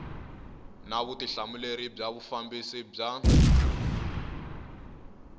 na vutihlamuleri bya vufambisi bya